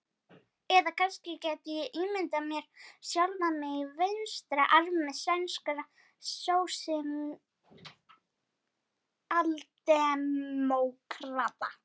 Eða kannski gæti ég ímyndað mér sjálfan mig í vinstra armi sænskra sósíaldemókrata.